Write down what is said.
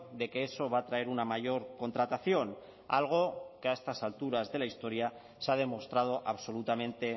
de que eso va a traer una mayor contratación algo que a estas alturas de la historia se ha demostrado absolutamente